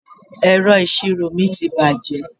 Ẹ̀rọ ìṣirò mi ti bàjẹ́.